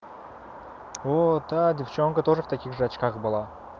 вот а девчонка тоже в таких же очках была